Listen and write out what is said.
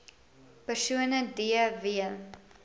persone d w